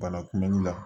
Bana kunbɛnli la